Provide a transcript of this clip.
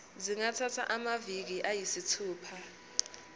zingathatha amaviki ayisithupha